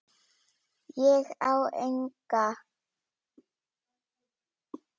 Ég á enga.